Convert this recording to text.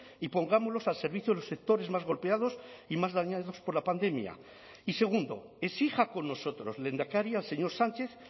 y pongámoslos al servicio de los sectores más golpeados y más dañados por la pandemia y segundo exija con nosotros lehendakari al señor sánchez